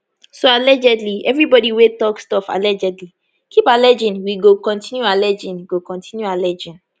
soallegedlyevribodi wey dey tok stuffallegedly keepalleging we go continuealleging go continuealleging